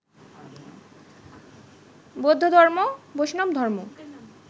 বৌদ্ধধর্ম, বৈষ্ণবধর্ম